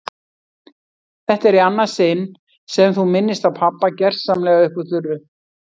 Þetta er í annað sinn sem þú minnist á pabba gersamlega upp úr þurru.